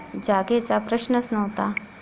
जागेचा प्रश्नच नव्हता.